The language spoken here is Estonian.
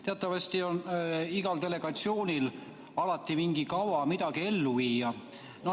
Teatavasti on igal delegatsioonil alati mingi kava midagi ellu viia.